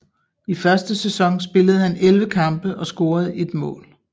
I første sæson spillede han 11 kampe og scorede ét mål